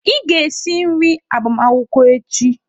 Ị ga-esi nri agbamakwụkwọ echi!